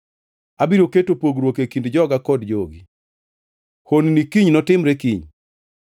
Abiro keto pogruok e kind joga kod jogi. Hononi kiny notimre kiny.’ ”